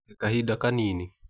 He kahida kanini.